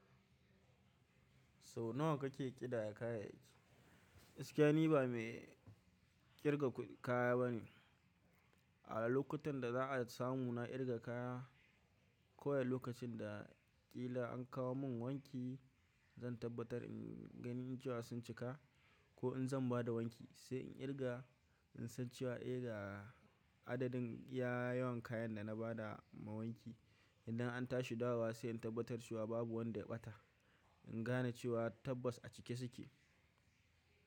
So nawa kake ƙidaya kayayyaki? Gaskiya ni ba mai ƙirga kaya bane. A lokutan da za a samu na ƙirga kaya, ka wai lokacin da ƙila an kawo mun wanki, zan tabbatar in gani cewa sun cika ko in zan bada wanki, sai in ƙirga in san cewa eh ga adadin iya yawan kayan da na bada ma wanki. Idan an tashi dawowa sai in tabbatar cewa babu wanda ya ɓata. In gane cewa tabbas a cike suke.